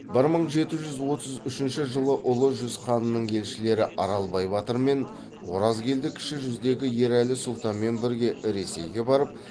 бір мың жеті жүз отыз үшінші жылы ұлы жүз ханының елшілері аралбай батыр мен оразкелді кіші жүздегі ерәлі сұлтанмен бірге ресейге барып